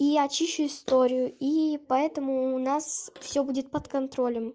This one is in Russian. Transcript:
и очищу историю и поэтому у нас всё будет под контролем